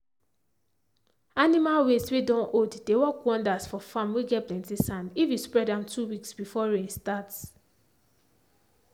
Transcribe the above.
animal waste whey don old dey work wonders for farm whey get plenty sand if you spread am 2 weeks before rain starts.